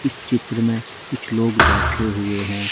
इस चित्र में कुछ लोग बैठे हुए है।